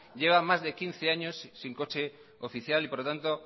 lleva más de quince años sin coche oficial y por lo tanto